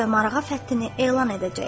Təbriz və Marağa fəthini elan edəcək.